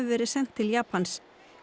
verið sent til Japans